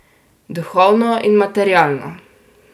Duhovno in materialno.